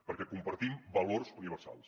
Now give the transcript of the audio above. perquè compartim valors universals